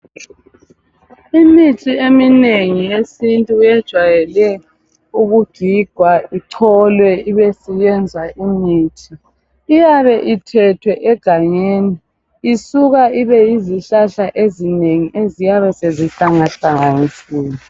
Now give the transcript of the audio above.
Imithi eminengi yesintu yejwayele ukugigwa icholwe ibe siyenza imithi. Iyabe ithethwe egangeni isuka ibe yizihlahla ezinengi eziyabe sezihlangahlanganisiwe.